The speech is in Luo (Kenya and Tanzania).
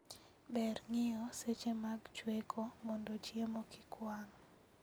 Ber ng'iyo seche mag chweko mondo chiemo kik wang'